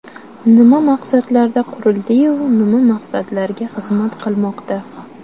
Nima maqsadlarda qurildi-yu, nima maqsadlarga xizmat qilmoqda?